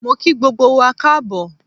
Mo kí gbogbo wa Káàbọ̀